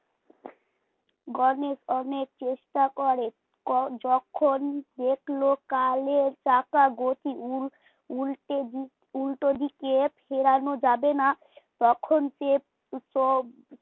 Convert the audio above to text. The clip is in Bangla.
গণেশ অনেক চেষ্টা করে ক যখন দেখলো কালের চাকা গতি উল উল্টে দিক, উলটো দিকে ফেরানো যাবে না তখন সে সব